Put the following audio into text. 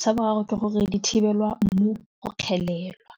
sa boraro ke gore di thibelwa mmu go kgelelwa.